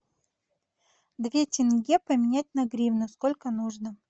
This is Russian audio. две тенге поменять на гривны сколько нужно